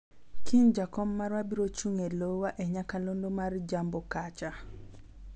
kiny jakom marwa biro chung' e lowa e nyakalondo mar jambo kacha